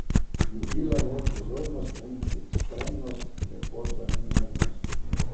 Ljubila je pozornost in ekstremnost, lepoto in umetnost.